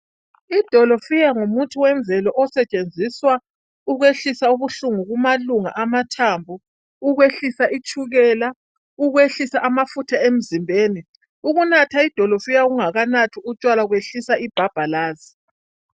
Idolofiya ngumuthi wemvelo osetshenziswa ukwehlisa ubuhlungu kumalunga amathambo . Ukwehlisa itshukela, ukwehlisa kwehlisa ukunatha idolofiya ungakanathi utshwala kwehlisa ibhabhalazi.